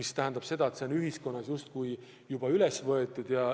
Seega ühiskonnas on teema juba üles võetud.